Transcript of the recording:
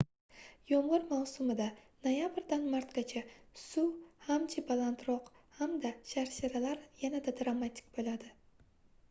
yomg'ir mavsumida noyabrdan martgacha suv hamji balandroq hamda sharsharalar yanada dramatik bo'ladi